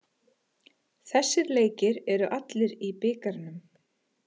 Þessir leikir eru allir í bikarnum